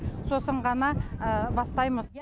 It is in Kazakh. сосын ғана бастаймыз